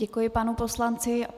Děkuji panu poslanci.